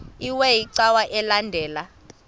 iwe cawa elandela